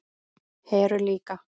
Heru líka.